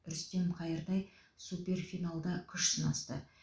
рүстем қайыртай суперфиналда күш сынасты